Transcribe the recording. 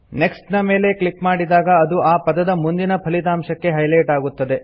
next ನ ಮೇಲೆ click ಮಾಡಿದಾಗ ಅದು ಆ ಪದದ ಮುಂದಿನ ಫಲಿತಾಂಶಕ್ಕೆ ಹೈಲೆಟ್ ಆಗುತ್ತದೆ